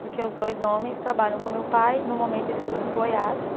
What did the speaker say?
porque os dois homens trabalham com meu pai, no momento eles estão em Goiás.